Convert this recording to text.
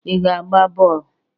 I ga-agba bọl?